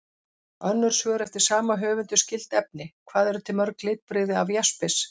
Önnur svör eftir sama höfund um skyld efni: Hvað eru til mörg litbrigði af jaspis?